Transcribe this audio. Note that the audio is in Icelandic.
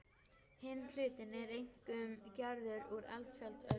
Hinn hlutinn er einkum gerður úr eldfjallaösku.